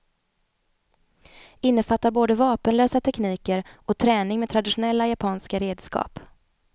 Innefattar både vapenlösa tekniker och träning med traditionella japanska redskap.